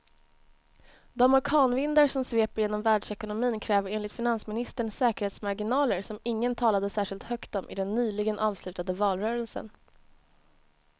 De orkanvindar som sveper genom världsekonomin kräver enligt finansministern säkerhetsmarginaler som ingen talade särskilt högt om i den nyligen avslutade valrörelsen.